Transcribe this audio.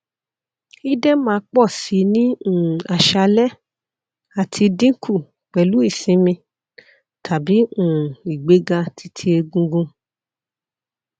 idẹma pọ si ni um aṣalẹ ati dinku pẹlu isinmi tabi um igbega ti ti egungun